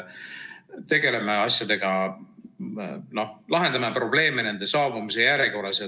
Lahendame probleeme nende saabumise järjekorras.